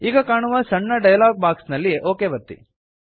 ಈಗ ಕಾಣುವ ಸಣ್ಣ ಡಯಲಾಗ್ ಬಾಕ್ಸ್ ನಲ್ಲಿ ಒಕ್ ಒತ್ತಿ